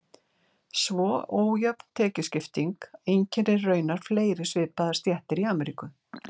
Svo ójöfn tekjuskipting einkennir raunar fleiri svipaðar stéttir í Ameríku.